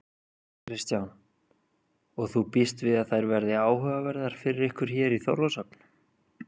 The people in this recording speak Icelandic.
Kristján: Og þú býst við að þær verði áhugaverðar fyrir ykkur hér í Þorlákshöfn?